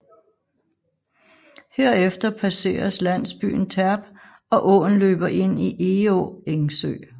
Herefter passeres landsbyen Terp og åen løber ind i Egå Engsø